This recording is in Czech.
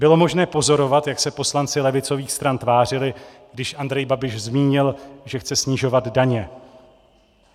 Bylo možné pozorovat, jak se poslanci levicových stran tvářili, když Andrej Babiš zmínil, že chce snižovat daně.